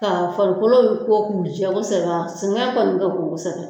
Ka farikolo ko k'u jɛ kosɛbɛ, sɛgɛn kɔni bɛ k'u sɛgɛn.